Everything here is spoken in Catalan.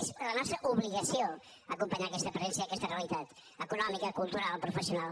és la nostra obligació acompanyar aquesta presència i aquesta realitat econòmica cultural professional